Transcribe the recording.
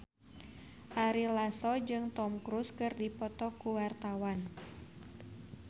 Ari Lasso jeung Tom Cruise keur dipoto ku wartawan